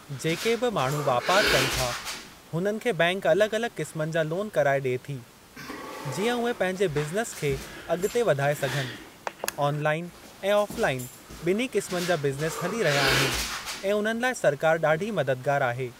जेके बि माण्हू वापार कनि था हुननि खे बैंक अलॻि अलॻि क़िस्मनि जा लोन कराए ॾिए थी जीअं उहे पंहिंजे बिज़नेस खे अॻिते वधाए सघनि। ऑनलाइन ऐं ऑफ़लाइन ॿिन्ही क़िस्मनि जा बिज़नेस हली रहिया आहिनि ऐं उन्हनि लाइ सरकार ॾाढी मददगार आहे।